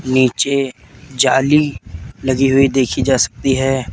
नीचे जाली लगी हुई देखी जा सकती है।